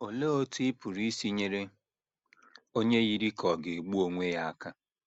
Olee Otú Ị Pụrụ Isi Nyere Onye Yiri Ka Ọ̀ Ga - egbu Onwe Ya Aka?